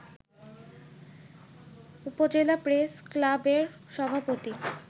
উপজেলা প্রেস ক্লাবের সভাপতি